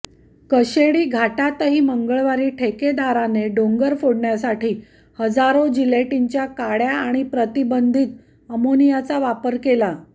कशेडी घाटातही मंगळवारी ठेकेदाराने डोंगर फोडण्यासाठी हजारो जिलेटिनच्या काडय़ा आणि प्रतिबंधित अमोनियाचा वापर केला